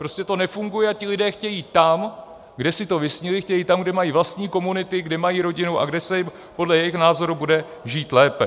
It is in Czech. Prostě to nefunguje a ti lidé chtějí tam, kde si to vysnili, chtějí tam, kde mají vlastní komunity, kde mají rodinu a kde se jim podle jejich názoru bude žít lépe.